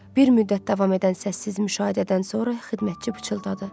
Bir müddət davam edən səssiz müşahidədən sonra xidmətçi pıçıldadı.